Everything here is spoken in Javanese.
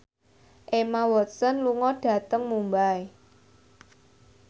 Emma Watson lunga dhateng Mumbai